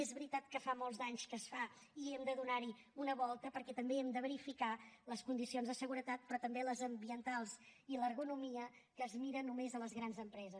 és veritat que fa molts d’anys que es fa i hem de donar hi una volta perquè també hi hem de verificar les condicions de seguretat però també les ambientals i l’ergonomia que es miren només a les grans empreses